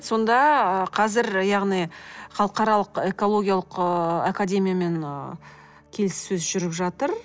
сонда қазір яғни халықаралық экологиялық ыыы академиямен келіссөз жүріп жатыр